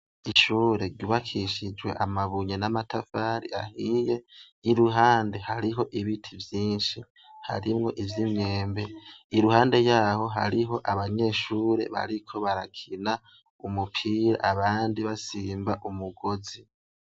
Ishure rubakishijwe amabunye n'amatafari ahiye iruhande hariho ibiti vyinshi harimwo ivyo imwembe iruhande yaho hariho abanyeshure bariko barakina umupira abandi basimba umugozi.